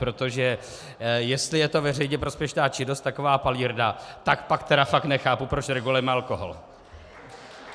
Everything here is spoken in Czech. Protože jestli je to veřejně prospěšná činnost, taková palírna, tak pak tedy fakt nechápu, proč regulujeme alkohol.